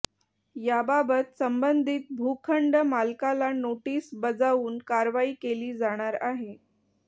याबाबत संबंधित भूखंड मालकाला नोटीस बजावून कारवाई केली जाणार आहे